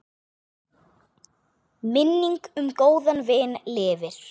Minning um góðan vin lifir.